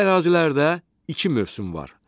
Bu ərazilərdə iki mövsüm var: